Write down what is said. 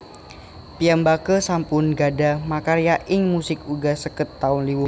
Piyambaké sampun gadhah makarya ing musik uga seket taun luwih